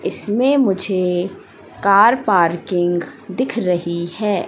इसमें मुझे car parking दिख रही हैं।